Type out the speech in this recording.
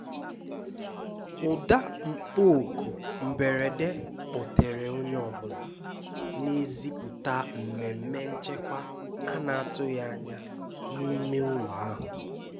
Ụ́dà mkpọ́ okù mberede kpọ́tèrè onye ọ bụla, na-ezípụ̀ta mmèmmé nchèkwá a na-atụ́ghị́ ányá n'ime ụ́lọ̀ ahụ́.